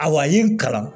Awa ye n kalan